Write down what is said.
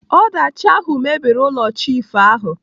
Ọdachi ahụ mebiri ụlọ chiifu ahụ.